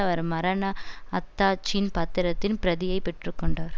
அவர் மரண அத்தாட்சின் பத்திரத்தின் பிரதியைப் பெற்று கொண்டார்